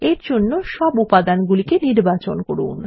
এরজন্য সব উপাদান নির্বাচন করুন